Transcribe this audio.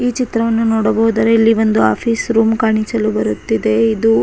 ಈ ಚಿತ್ರವನ್ನು ನೋಡಬಹುದಾದರೆ ಇಲ್ಲಿ ಒಂದು ಆಫೀಸ್ ರೂಮ್ ಕಾಣಿಸಲು ಬರುತ್ತಿದೆ ಇದು --